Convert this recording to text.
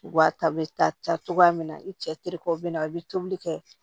Wa ta bɛ taa taa cogoya min na i cɛ terikɛw bɛ na a bɛ tobili kɛ